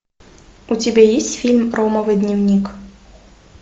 у тебя есть фильм ромовый дневник